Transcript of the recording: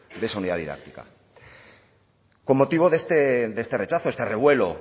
de esa unidad didáctica con motivo de este rechazo de este revuelo